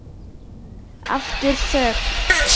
Aftur þögn.